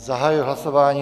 Zahajuji hlasování.